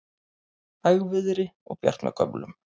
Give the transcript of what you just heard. Hægviðri og bjart með köflum